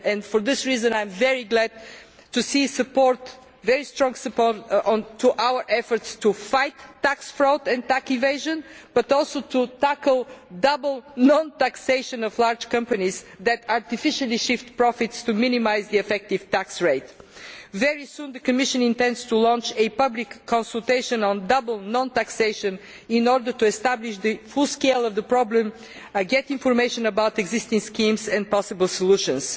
For this reason I am very glad to see very strong support to our efforts to fight tax fraud and tax evasion, but also to tackle double non taxation of large companies that artificially shift profits to minimise the effective tax rate. Very soon the Commission intends to launch a public consultation on double non taxation in order to establish the full scale of the problem, and to get information about existing schemes and possible solutions.